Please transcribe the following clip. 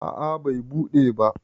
a a Bai buɗe ba